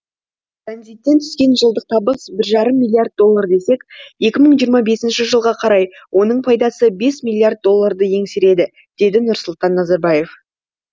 транзиттен түскен жылдық табыс бір жарым миллиард доллар десек екі мың жиырма бес жылға қарай оның пайдасы бес миллиард долларды еңсереді деді нұрсұлтан назарбаев